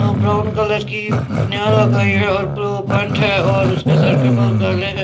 Brown colour की बनियान लगाई है और ब्ल्यू पेंट है और उसके सर के बाल काले हैं।